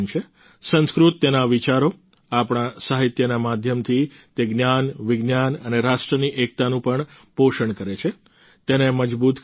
સંસ્કૃત તેના વિચારો આપણા સાહિત્યના માધ્યમથી તે જ્ઞાન વિજ્ઞાન અને રાષ્ટ્રની એકતાનું પણ પોષણ કરે છે તેને મજબૂત કરે છે